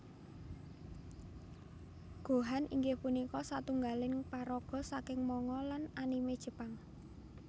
Gohan inggih punika satunggaling paraga saking manga lan anime Jepang